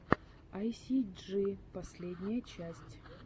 айсиджи последняя часть